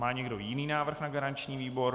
Má někdo jiný návrh na garanční výbor?